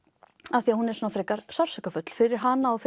af því hún er frekar sársaukafull fyrir hana og